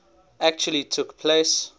actually took place